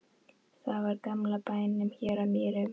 Það var í gamla bænum hér á Mýrum.